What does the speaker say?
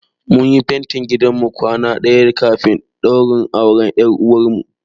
Mun yi fentin gidan mu kwana ɗaya kafin ɗaurin auren ƴar uwarmu.